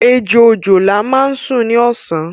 Ejò òjòlá máa ń sún ní ọ̀sán